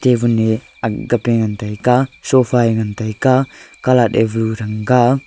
nivun ne agga pe ngan taiga sofa ye ngan taiga calat te value thanga.